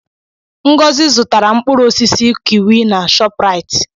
Ngọzi zụtara mkpụrụ osisi kiwi na Shopraịt.